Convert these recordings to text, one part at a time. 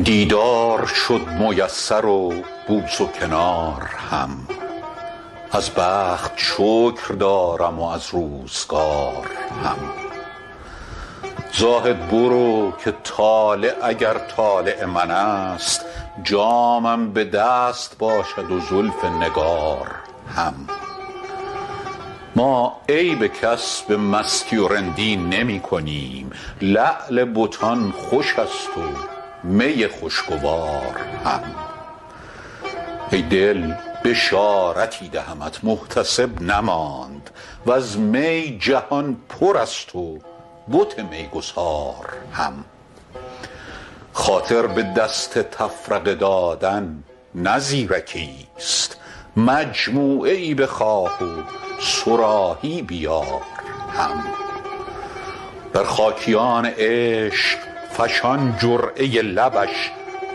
دیدار شد میسر و بوس و کنار هم از بخت شکر دارم و از روزگار هم زاهد برو که طالع اگر طالع من است جامم به دست باشد و زلف نگار هم ما عیب کس به مستی و رندی نمی کنیم لعل بتان خوش است و می خوشگوار هم ای دل بشارتی دهمت محتسب نماند و از می جهان پر است و بت میگسار هم خاطر به دست تفرقه دادن نه زیرکیست مجموعه ای بخواه و صراحی بیار هم بر خاکیان عشق فشان جرعه لبش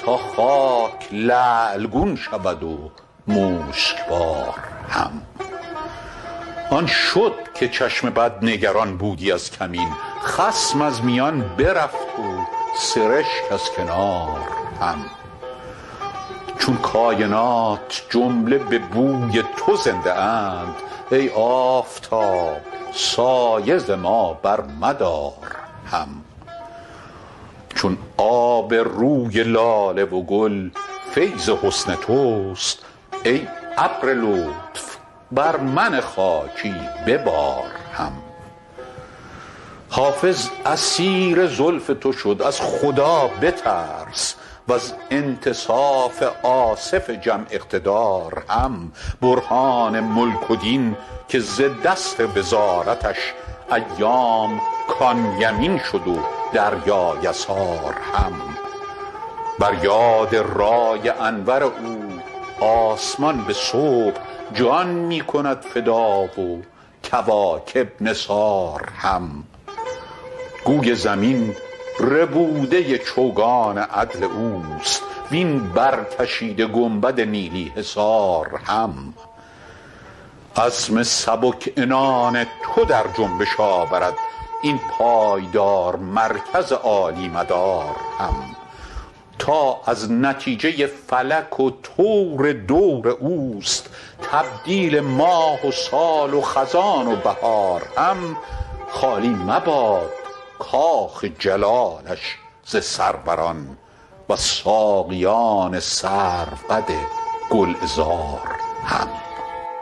تا خاک لعل گون شود و مشکبار هم آن شد که چشم بد نگران بودی از کمین خصم از میان برفت و سرشک از کنار هم چون کاینات جمله به بوی تو زنده اند ای آفتاب سایه ز ما برمدار هم چون آب روی لاله و گل فیض حسن توست ای ابر لطف بر من خاکی ببار هم حافظ اسیر زلف تو شد از خدا بترس و از انتصاف آصف جم اقتدار هم برهان ملک و دین که ز دست وزارتش ایام کان یمین شد و دریا یسار هم بر یاد رای انور او آسمان به صبح جان می کند فدا و کواکب نثار هم گوی زمین ربوده چوگان عدل اوست وین برکشیده گنبد نیلی حصار هم عزم سبک عنان تو در جنبش آورد این پایدار مرکز عالی مدار هم تا از نتیجه فلک و طور دور اوست تبدیل ماه و سال و خزان و بهار هم خالی مباد کاخ جلالش ز سروران و از ساقیان سروقد گلعذار هم